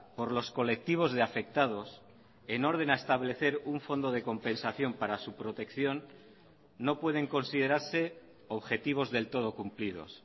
por los colectivos de afectados en orden a establecer un fondo de compensación para su protección no pueden considerarse objetivos del todo cumplidos